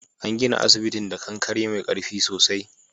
An gina asibitin da kankare mai karfi sosai.